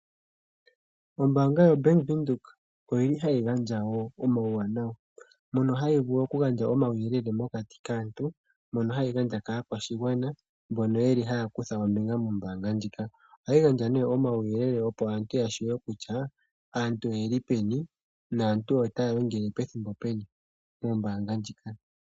Ombaanga yoBank Windhoek oyili hayi gandja wo omauwanawa. Mono hayi vulu okugandja omauyelele mokati kaantu, mono hayi gandja kaakwashigwana mbono yeli haya kutha ombinga mombaanga ndjika. Ohayi gandja nee omauyelele opo aantu yatseye kutya aantu oyeli peni naantu otaya longele pethimbo peni moombaanga ndhika.